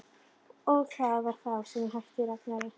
Og það var þá sem ég mætti Ragnari.